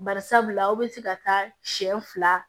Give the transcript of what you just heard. Bari sabula aw bɛ se ka taa siɲɛ fila